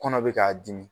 Kɔnɔ bɛ k'a dimi